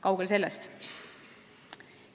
Kaugel sellest.